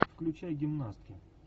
включай гимнастки